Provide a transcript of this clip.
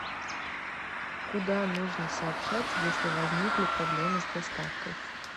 куда нужно сообщать если возникли проблемы с доставкой